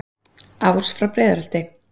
ás frá breiðholti